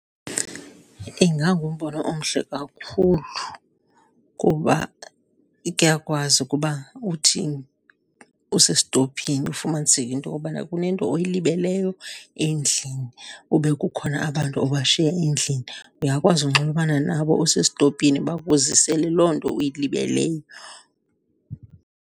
Ingangumbono omhle kakhulu kuba kuyakwazi ukuba uthi usestophini ufumaniseke into okobana kunento oyilibeleyo endlini kube kukhona abantu obashiya endlini, uyakwazi unxulumana nabo usestopini bakuzisele loo nto uyilibeleyo.